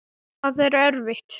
Það er erfitt.